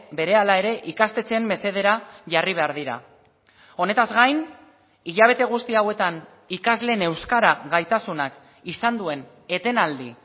berehala ere ikastetxeen mesedera jarri behar dira honetaz gain hilabete guzti hauetan ikasleen euskara gaitasunak izan duen etenaldi